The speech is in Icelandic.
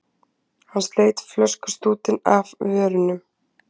Hann sleit flöskustútinn af vörunum.